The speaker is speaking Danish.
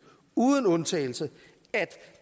uden undtagelse at